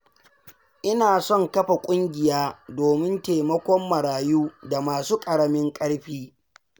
Ina son kafa ƙungiya domin taimakon marayu da masu ƙaramin ƙarfi.